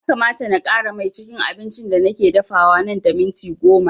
Ya kamata na ƙara mai cikin abincin da nake dafawa nan da minti goma